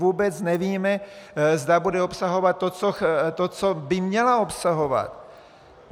Vůbec nevíme, zda bude obsahovat to, co by měla obsahovat.